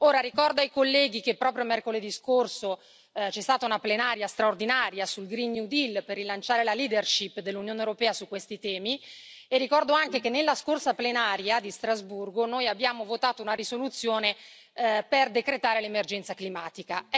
Ora ricordo ai colleghi che proprio mercoledì scorso c'è stata una plenaria straordinaria sul Green New Deal per rilanciare la leadership dell'Unione europea su questi temi, e ricordo anche che nella scorsa plenaria di Strasburgo, noi abbiamo votato una risoluzione per decretare l'emergenza climatica.